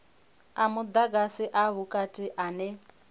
a mudagasi a vhukati ane